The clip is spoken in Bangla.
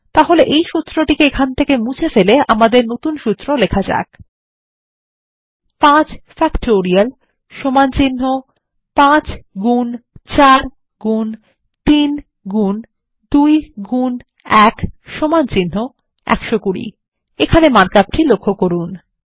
তাহলে এই সূত্র মুছে ফেলে আমাদের সুত্র টি লেখা যাক 5 ফ্যাক্টোরিয়াল 5 গুন 4 গুন 3 গুন 2 গুন 1 120 এখানে মার্ক আপটি লক্ষ্য করুন